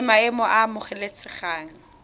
la maemo a a amogelesegang